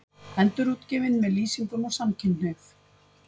Endurútgefin með lýsingum á samkynhneigð